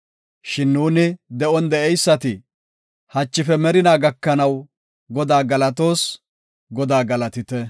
Shin nuuni, de7on de7eysati, hachife merinaa gakanaw, Godaa galatoos. Godaa galatite.